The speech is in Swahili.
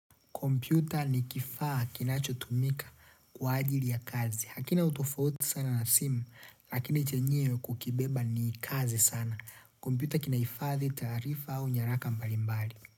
Kompyuta ni kifaa kinachotumika kwa ajili ya kazi. Hakina tofauti sana na simu, lakini chenyewe kukibeba ni kazi sana. Kompyuta kina hifadhi taarifa au nyaraka mbalimbali.